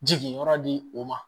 Jigi yɔrɔ di o ma